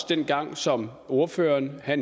dengang som ordføreren